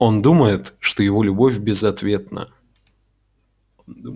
он думает что его любовь безответна